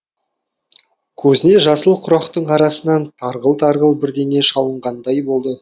көзіне жасыл құрақтың арасынан тарғыл тарғыл бірдеңе шалынғандай болды